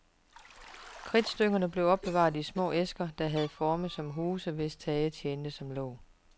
Kridtstykkerne blev opbevaret i små æsker, der havde form som huse, hvis tag tjente som låg.